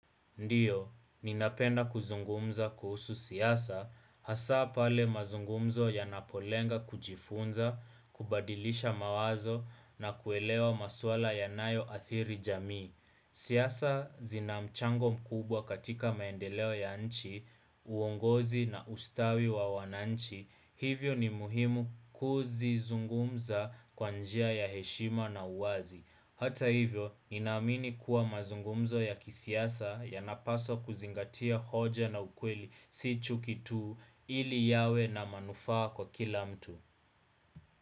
Ndiyo, ninapenda kuzungumza kuhusu siasa, hasa pale mazungumzo yanapolenga kujifunza, kubadilisha mawazo na kuelewa maswala yanayo athiri jamii. Siasa zinamchango mkubwa katika maendeleo ya nchi, uongozi na ustawi wa wananchi, hivyo ni muhimu kuzizungumza kwa njia ya heshima na uwazi. Hata hivyo, ni naamini kuwa mazungumzo ya kisiasa yanapaswa kuzingatia hoja na ukweli si chuki tu ili yawe na manufaa kwa kila mtu.